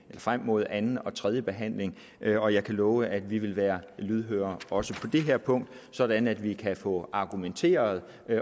frem mod anden og tredje behandling og jeg kan love at vi vil være lydhøre også på det her punkt sådan at vi kan få argumenteret